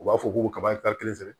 U b'a fɔ k'u kaba kelen sɛ